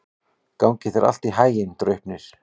Gangi þér allt í haginn, Draupnir.